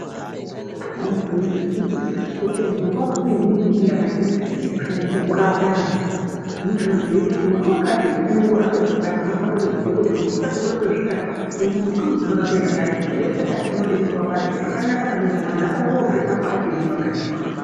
Mumashango umo mune miti yakasiyana siyana inoshandiswa kurape antu. Muti wakati unorape zvakati. Vanhu vanofanire kuziya kuti mumbuti wakati unorape zvakati. Chirwere chakati chinoda muti wakati. Zvakanaka maningi antu anofanire kuzvirapa achiri mumakanyi kwawo.